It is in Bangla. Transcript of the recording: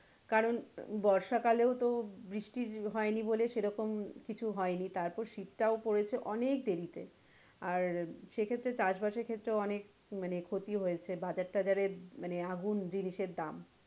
কারন বর্ষা কালেও তো বৃষ্টি হয়নি বলে সেরকম কিছু হয়নি তারপর শীত টাও পড়েছে অনেক দেরি তে আর সেক্ষেত্রে চাষ বাসের খেত্রেও অনেক মানে ক্ষতি হয়েছে বাজার টাজারে মানে আগুন জিনিসের দাম।